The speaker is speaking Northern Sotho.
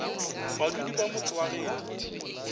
badudi ba motse wa geno